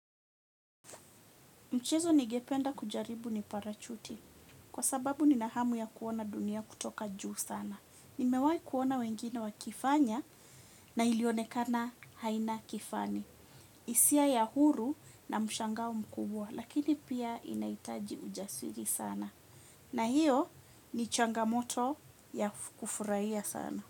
Mchezo ningependa kucheza ni parachuti kwa sababu nina hamu ya kuona dunia kutoka juu sana. Nimewai kuona wengine wakifanya na ilionekana haina kifani. Hisia ya huru na mshangao mkubwa lakini pia inahitaji ujasiri sana. Na hiyo ni changamoto ya kufurahia sana.